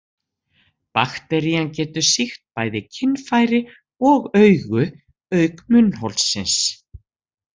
Bakterían getur sýkt bæði kynfæri og augu, auk munnholsins.